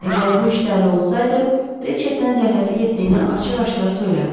Əgər bu işdə əli olsaydı, Riçetdən zəhləsi getdiyini açıq-aşkar söyləməzdi.